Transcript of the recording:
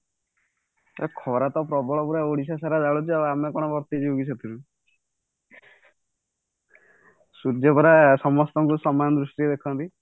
ଏ ଖରା ତ ପ୍ରବଳ ପୁରା ଓଡିଶା ସାରା ଘାରୁଛି ଆଉ ଆମେ କଣ ବର୍ତ୍ତି ଯିବୁକି ସେଥିରୁ ସୂର୍ଯ୍ୟ ପରା ସମସ୍ତଙ୍କୁ ସମାନ ଦୃଷ୍ଟିରେ ଦେଖନ୍ତି